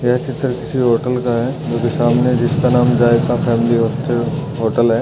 यह चित्र किसी होटल का है जो कि सामने जिसका नाम जायका फेमली होस्ट होटल है।